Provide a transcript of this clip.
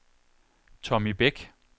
Tommy Beck